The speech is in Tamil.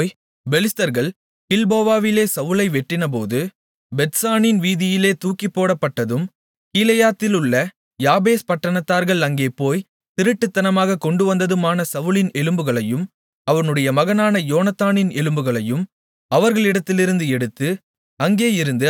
தாவீது போய் பெலிஸ்தர்கள் கில்போவாவிலே சவுலை வெட்டினபோது பெத்சானின் வீதியிலே தூக்கிப்போடப்பட்டதும் கீலேயாத்திலுள்ள யாபேஸ் பட்டணத்தார்கள் அங்கே போய்த் திருட்டுத்தனமாகக் கொண்டுவந்ததுமான சவுலின் எலும்புகளையும் அவனுடைய மகனான யோனத்தானின் எலும்புகளையும் அவர்களிடத்திலிருந்து எடுத்து